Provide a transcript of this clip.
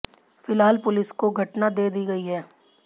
फिलहाल पुलिस को घटना दे दी गई है